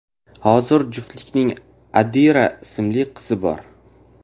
Hozir juftlikning Adira ismli qizi bor.